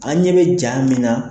An ɲɛ bɛ ja min na.